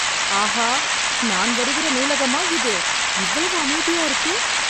ஆஹா! நான் வருகிற நூலகமா இது இவ்வளவு அமைதியா இருக்கு!